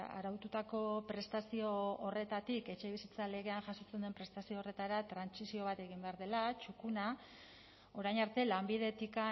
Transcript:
araututako prestazio horretatik etxebizitza legean jasotzen den prestazio horretara trantsizio bat egin behar dela txukuna orain arte lanbidetik